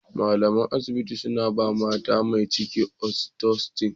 Malaman asibiti sun ba mata mai ciki "oxytocin".